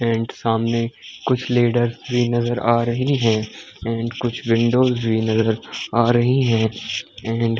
And सामने कुछ ladders भी नजर आ रही है। एंड कुछ विंडोस भी नजर आ रही है एंड --